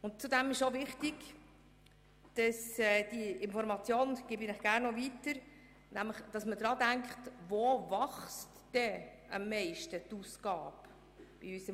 Ich gebe Ihnen gerne noch die Information weiter, wo die Ausgaben in unserem Haushalt am meisten wachsen.